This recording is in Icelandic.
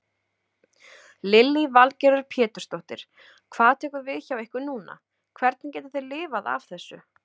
Lillý Valgerður Pétursdóttir: Hvað tekur við hjá ykkur núna, hvernig getið þið lifað af þessu?